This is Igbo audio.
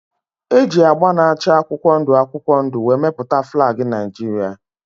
E ji agba na-acha akwụkwọ ndụ akwụkwọ ndụ wee mepụta flag Naijiria.